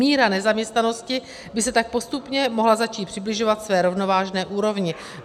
Míra nezaměstnanosti by se tak postupně mohla začít přibližovat své rovnovážné úrovni.